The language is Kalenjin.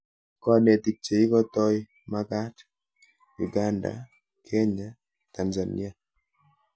Konetik cheikotoi magat:Uganda, Kenya, Tanzania